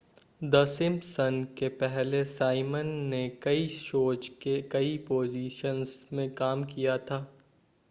the Simpson के पहले Simon ने कई शोज़ के कई पोज़िशन्स में काम किया था